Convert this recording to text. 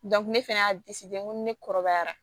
ne fɛnɛ y'a n ko ni ne kɔrɔbayara